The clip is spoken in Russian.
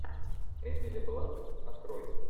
эмили блант открой